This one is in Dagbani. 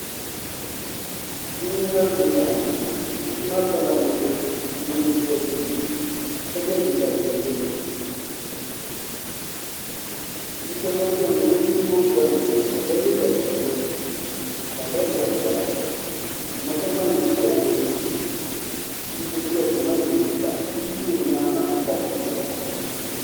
Bia n ŋmɛri gungoŋ bia maa pirila namdi dozim ka yɛ liiga piɛlli bia so gba biɛni ŋuni n gbubi Bolli ŋo o yɛla liiga piɛlli ka di leee mali kola n ma so gba n ʒiya ŋo o yɛ chinchin mini di liiga bia bɛ o nyaangi koriti o zuɣu ni